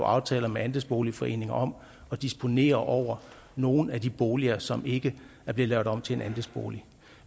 aftaler med andelsboligforeninger om at disponere over nogle af de boliger som ikke er blevet lavet om til en andelsbolig